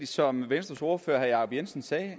som venstres ordfører herre jacob jensen sagde